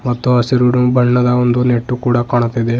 ಮತ್ತು ಹಸಿರು ಬಣ್ಣದ ಒಂದು ನೆಟ್ಟು ಕೂಡ ಕಾಣುತ್ತಿದೆ.